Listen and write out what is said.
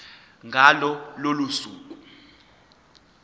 ngalo lolo suku